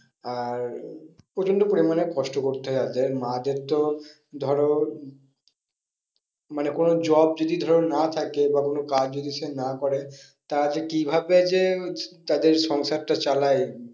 আর প্রচন্ড পরিমানে কষ্ট করতে হয় তাদের মা'দের তো ধরো মানে কোনো job যদি ধরো না থাকে বা কোনো কাজ যদি সে না করে তারা যে কি ভাবে যে তাদের সংসারটা চালায়